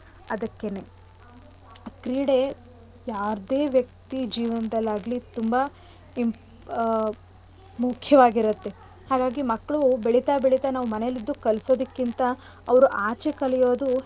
ಅದಕ್ಕೇನೆ ಕ್ರೀಡೆ ಯಾವ್ದೆ ವ್ಯಕ್ತಿ ಜೀವನದಲ್ಲಾಗ್ಲಿ ತುಂಬಾ ಇಂಪ್~ ಮುಖ್ಯವಾಗಿರತ್ತೆ. ಹಾಗಾಗಿ ಮಕ್ಳು ಬೆಳಿತಾ ಬೆಳಿತಾ ನಾವು ಮನೆಲಿದ್ದು ಕಲ್ಸೋದಕಿಂತ ಅವ್ರು ಆಚೆ ಕಲಿಯೋದು.